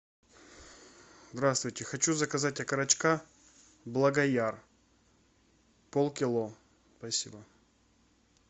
здравствуйте хочу заказать окорочка благояр полкило спасибо